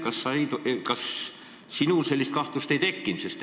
Kas sinul sellist kahtlust ei tekkinud?